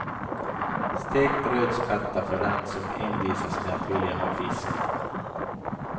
Stekt rödspätta för den som envisas med att vilja ha fisk.